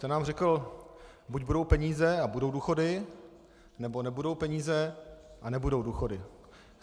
Ten nám řekl - buď budou peníze a budou důchody, nebo nebudou peníze a nebudou důchody.